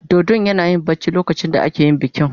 Dodon yana barci lokacin da ake yin bikin.